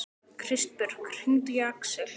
Kristbjörg, hringdu í Aksel.